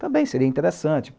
Também seria interessante.